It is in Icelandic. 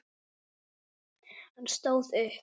Hann stóð upp.